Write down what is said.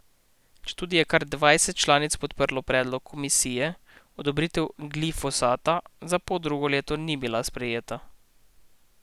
Četudi je kar dvajset članic podprlo predlog komisije, odobritev glifosata za poldrugo leto ni bila sprejeta.